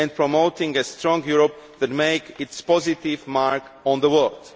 and promoting a strong Europe that makes its positive mark on the world.